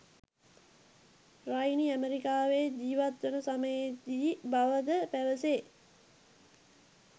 රයිනි ඇමරිකාවේ ජීවත්වන සමයේදී බවද පැවසේ.